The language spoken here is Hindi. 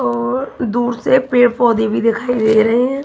और दूर से पेड़ पौधे भी दिखाई दे रहे हैं।